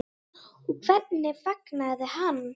Og hvernig fagnaði hann?